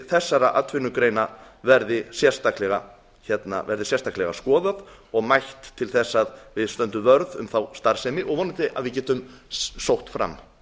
þessara fyrirtækja verði sérstaklega skoðað og mælt til þess að við stöndum vörð um þá starfsemi og vonandi að við getum sótt fram